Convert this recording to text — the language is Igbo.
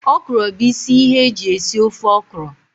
Okro bu isi ihe eji esi ofe okro